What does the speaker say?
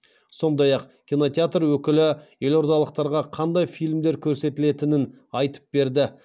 сондай ақ кинотеатр өкілі елордалықтарға қандай фильмдер көрсетілетінін айтып берді